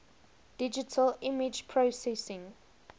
digital image processing